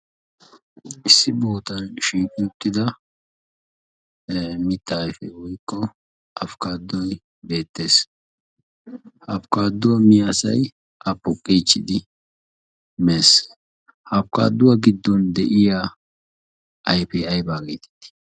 Issi bootan shiiqi uuttida mitta ayfe woykko afkkaaddoy beettees. Ha afkkaadduwaa miya asay a poqqeechchidi mees. Ha afkkaadduwaa giddon de'iya ayfiya ayba geetiidi?